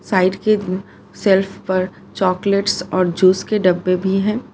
Side के shelf पर chocolates और जूस के डब्बे भी है।